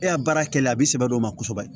E y'a baara kɛ a bi sɛbɛ dɔ ma kosɛbɛ